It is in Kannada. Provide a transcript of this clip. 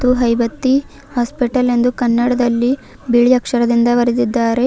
ಹಾಗು ಹೈಬತ್ತಿ ಹಾಸ್ಪಿಟಲ್ ಎಂದು ಕನ್ನಡದಲ್ಲಿ ಬಿಳಿ ಅಕ್ಷರದಿಂದ ಬರೆದಿದ್ದಾರೆ.